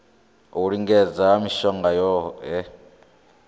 u lingedza ha mishongo yohe